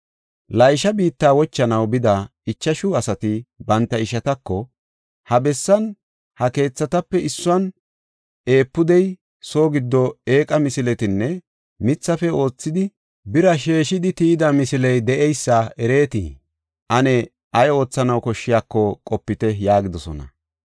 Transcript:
Laysha biitta wochanaw bida ichashu asati banta ishatako, “Ha bessan, ha keethatape issuwan efuudey, soo giddo eeqa misiletinne mithafe oothidi bira sheeshidi tiyida misiley de7eysa ereetii? Ane ay oothanaw koshshiyako qopite” yaagidosona.